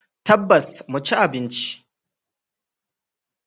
Tabbas, mu ci abinci.